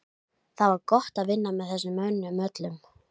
Það var gott að vinna með þessum mönnum öllum.